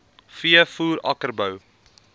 v voer akkerbou